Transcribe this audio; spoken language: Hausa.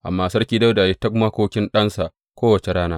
Amma Sarki Dawuda ya yi ta makokin ɗansa kowace rana.